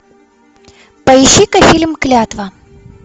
поищи ка фильм клятва